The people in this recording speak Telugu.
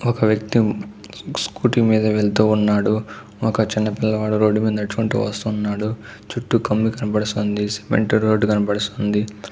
ఒక వ్యక్తి ఉమ్ స్కూటీ మీద వెళ్తూ ఉన్నాడు. ఒక చిన్న పిల్లవాడు రోడ్ మేధ నడుచుకుంటూ వస్తున్నాడు చుట్టూ కమ్మి కనబడిస్తానంది సిమెంట్ రోడ్ కనిపిస్తుంది.